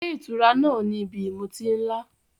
Ilé ìtura náà ni ibi ìmutí ńlá.